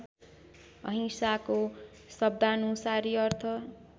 अहिंसाको शब्दानुसारी अर्थ